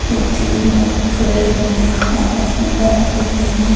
दो तीन लोग खड़े हुए है आपस में बात कर रहे हैं।